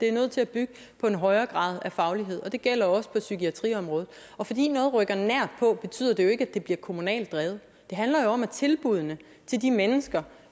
er nødt til at bygge på en højere grad af faglighed det gælder også på psykiatriområdet fordi noget rykker nært på betyder det jo ikke at det bliver kommunalt drevet det handler jo om tilbuddene til de mennesker